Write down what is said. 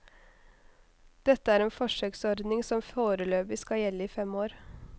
Dette er en forsøksordning som foreløpig skal gjelde i fem år.